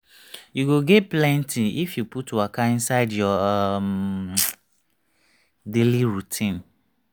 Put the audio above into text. you go gain plenty if you put waka inside your um daily routine